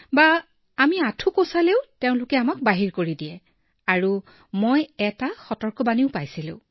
বা আমি আঁঠু দুটা বেঁকা কৰিলেও আমাক বহিষ্কাৰ কৰে আৰু মোকো সতৰ্কবাণী দিয়া হল